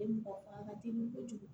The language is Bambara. mɔgɔ fanga ka teli kojugu